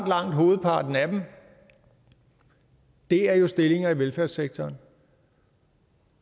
langt hovedparten af dem er er stillinger i velfærdssektoren